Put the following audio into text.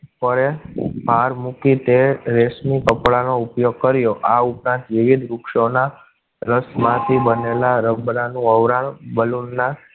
Car મુકી તે રેશમી કપડા નો ઉપયોગ કરો. આ ઉપરાંત વિવિધ વૃક્ષો ના રસ માંથી બનેલા રબરનું ઔરા balloon ના